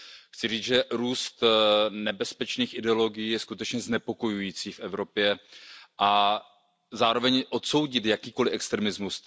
Chci říct, že růst nebezpečných ideologií je skutečně znepokojující v Evropě, a zároveň odsoudit jakýkoliv extremismus.